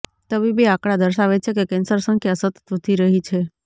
તબીબી આંકડા દર્શાવે છે કે કેન્સર સંખ્યા સતત વધી રહી છે